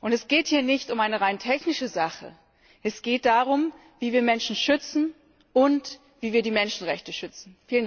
Es geht hier nicht um eine rein technische Sache, es geht darum, wie wir Menschen schützen und wie wir die Menschenrechte schützen.